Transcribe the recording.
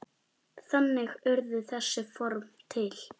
Þannig urðu þessi form til.